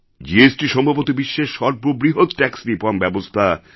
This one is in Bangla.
জিএসটি সম্ভবত বিশ্বের সর্ববৃহৎ ট্যাক্স রিফর্ম ব্যবস্থা